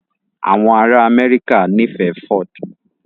Àwọn ará Amẹ́ríkà nífẹ̀ẹ́ Ford